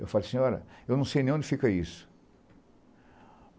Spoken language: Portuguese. Eu falo, senhora, eu não sei nem onde fica isso.